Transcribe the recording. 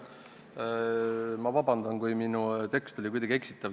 Ma palun vabandust, kui minu tekst oli kuidagi eksitav.